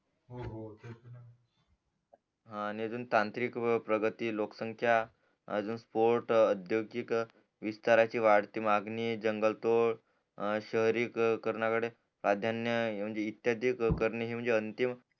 आणि अजून तांत्रिक प्रगती लोकसंख्या अजून स्पॉट आद्योगिक विस्थारची वाढती मागणी जंगल तोड शहरी करना कळे प्राधान्य इत्यादी करणे हे म्हणजे अंतिम